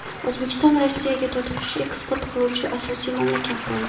O‘zbekiston Rossiyaga to‘tiqush eksport qiluvchi asosiy mamlakat bo‘ldi.